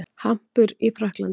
Hampur í Frakklandi.